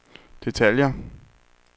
detaljer